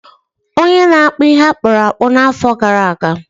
onye na-akpụ ihe akpụrụ akpụ n’afọ gara aga